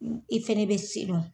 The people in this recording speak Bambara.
I fɛnɛ be sidɔn.